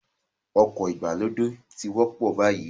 Ọkọ̀ ìgbàlódé ti ń wọ́pọ̀ báyìí